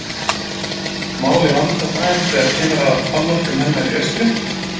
Málið vandast aðeins þegar kemur að afmörkun hennar í austri.